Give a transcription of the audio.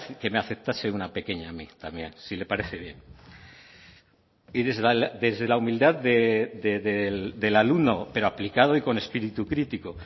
que me aceptase una pequeña a mí también si le parece bien y desde la humildad del alumno pero aplicado y con espíritu crítico